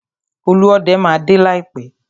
Olúọdẹ máa dé láìpẹ́.